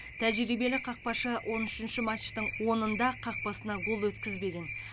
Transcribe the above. тәжірибелі қақпашы он үшінші матчтың онында қақпасына гол өткізбеген